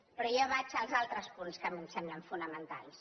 però jo vaig als altres punts que a mi em semblen fonamentals